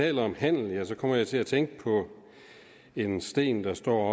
taler om handel kommer jeg til at tænke på en sten der står